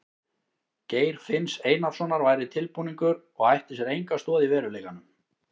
Geir finns Einarssonar væri tilbúningur og ætti sér enga stoð í veruleikanum.